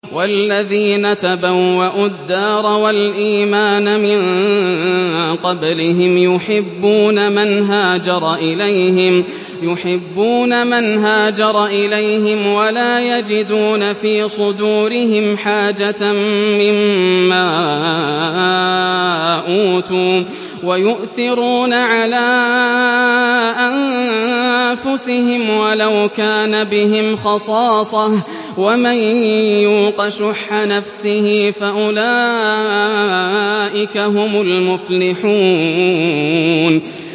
وَالَّذِينَ تَبَوَّءُوا الدَّارَ وَالْإِيمَانَ مِن قَبْلِهِمْ يُحِبُّونَ مَنْ هَاجَرَ إِلَيْهِمْ وَلَا يَجِدُونَ فِي صُدُورِهِمْ حَاجَةً مِّمَّا أُوتُوا وَيُؤْثِرُونَ عَلَىٰ أَنفُسِهِمْ وَلَوْ كَانَ بِهِمْ خَصَاصَةٌ ۚ وَمَن يُوقَ شُحَّ نَفْسِهِ فَأُولَٰئِكَ هُمُ الْمُفْلِحُونَ